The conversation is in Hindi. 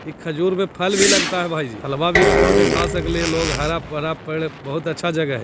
ई खजूर पे फल भी लगता है भाई जी फलवा भी तोड़ के खा सकलै है लोग हरा-भरा पेड़ बहुत अच्छा जगह है।